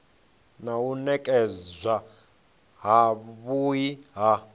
na u nekedzwa havhui ha